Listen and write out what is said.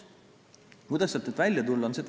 Kuidas sealt nüüd välja tulla?